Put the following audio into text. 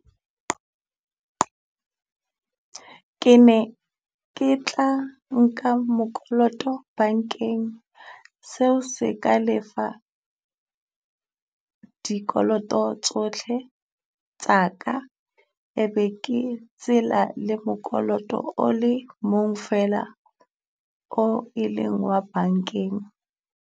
Ke ne ke tla nka mokoloto bankeng, seo se ka lefa dikoloto tsohle tsa ka e be ke tsela le mokoloto o le mong feela o e leng wa bankeng.